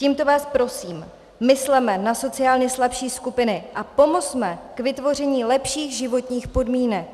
Tímto vás prosím, mysleme na sociálně slabší skupiny a pomozme k vytvoření lepších životních podmínek.